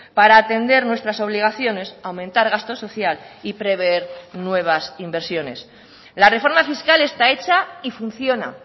para atender nuestras obligaciones aumentar gasto social y prever nuevas inversiones la reforma fiscal está hecha y funciona